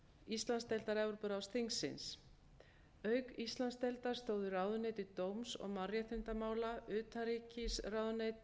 íslandsdeildar evrópuráðsþingsins auk íslandsdeildar stóðu ráðuneyti dóms og mannréttindamála utanríkisráðuneytið